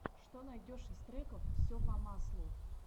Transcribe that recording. что найдешь из треков все по маслу